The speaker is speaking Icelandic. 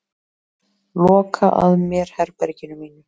Loka að mér herberginu mínu.